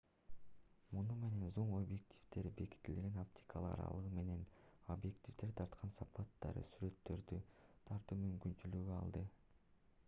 муну менен зум-объективдер бекитилген оптикалык аралыгы менен объективдер тарткан сапаттагы сүрөттөрдү тартуу мүмкүнчүлүгүн алды